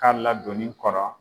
K'a ladoni kɔnɔ